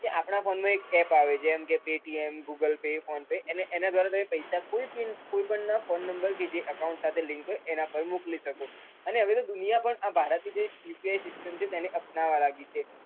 કે આપણા phone માં એક app આવે છે જેમ કે paytem, googal pay, phone pay એને app ના ધ્વારા તમે કોઈ પણ ના phone number કે જે account સાથે link હોય એના પર મોકલી શકો અને હવે તો દુનિયા પણ આ ભારત ની UPI system છે તેને અપનાવા લાગ્યું છે.